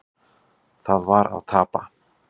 Það var að tapa.